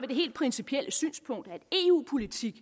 det helt principielle synspunkt at eu politik